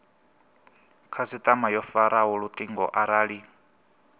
khasitama yo faraho lutingo arali